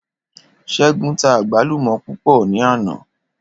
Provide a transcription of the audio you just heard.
Ṣégun tá àgbálùmò púpò ní àná.